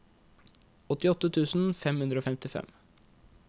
åttiåtte tusen fem hundre og femtifem